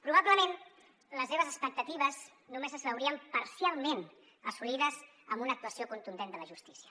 probablement les seves expectatives només es veurien parcialment assolides amb una actuació contundent de la justícia